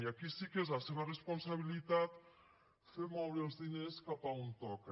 i aquí sí que és la seva responsabilitat fer moure els diners cap a on toca